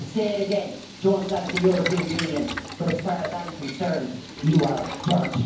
I'll say it again I don't like the European Union but, as far as I'm concerned, you are dirt.